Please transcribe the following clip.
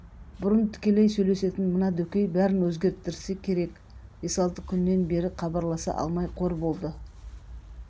бұрын тікелей сөйлесетін мына дөкей бәрін өзгерттірсе керек бес-алты күннен бері хабарласа алмай қор болды